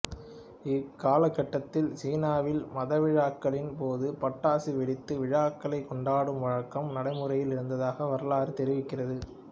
இதே காலகட்டத்தில் சீனாவில் மதவிழாக்களின் போது பட்டாசு வெடித்து விழாக்களைக் கொண்டாடும் வழக்கம் நடைமுறையில் இருந்ததாக வரலாறு தெரிவிக்கிறது